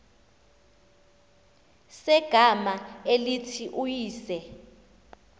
segama elithi uyise